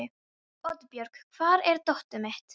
Oddbjörg, hvar er dótið mitt?